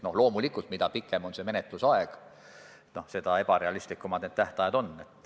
Loomulikult, mida pikem on menetlusaeg, seda ebarealistlikumad need tähtajad on.